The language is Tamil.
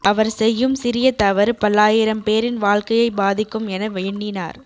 அவர் செய்யும் சிறிய தவறு பல்லாயிரம் பேரின் வாழ்க்கையை பாதிக்கும் என எண்ணினார்